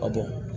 A don